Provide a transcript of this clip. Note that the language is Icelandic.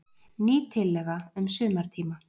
Ný tillaga um sumartíma.